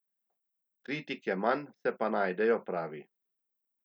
Kritik je manj, se pa najdejo, pravi.